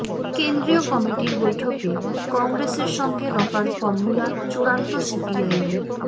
কেন্দ্রীয় কমিটির বৈঠকে কংগ্রেসের সঙ্গে রফার ফরমুলা চূড়ান্ত সিপিআইএমের